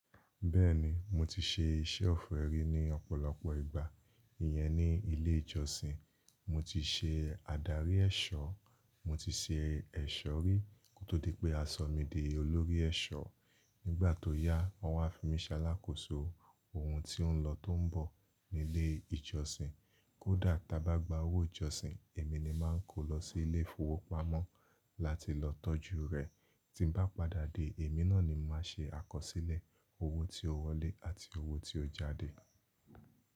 Bẹ́ẹ̀ni, mo ti ṣe iṣẹ́ ọ̀fẹ́ rí ní ọ̀pọ̀lọpọ̀ ìgbà. Iyẹn ní ilé ìjọsìn. Mo ti ṣe adarí ẹ̀ṣọ́, mo ti ṣe ẹ̀ṣọ́ rí, kó tó di pé a sọ mí di olórí ẹ̀ṣọ́. Nígbà tó yá, wọ́n wá fi mí ṣálákòso ohun tí ó ń lọ tó ń bọ̀ nílé ìjọsìn. Kódà tí a bá gba owó ìjọsìn, èmi ni màá ń kó lọ sí ilé ìfowópamọ́ láti lọ tọ́jú rẹ̀. Tí n bá padà dé, èmi náà ni màá ṣe àkọsílẹ̀ owó tí ó wọlé àti owó tí ó jáde.